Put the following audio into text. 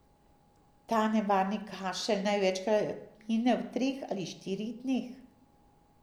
Ta nenevarni kašelj največkrat mine v treh ali štirih dneh.